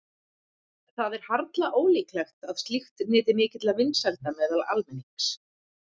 Það er harla ólíklegt að slíkt nyti mikilla vinsælda meðal almennings.